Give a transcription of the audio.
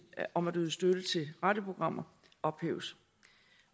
om at yde støtte til radioprogrammer ophæves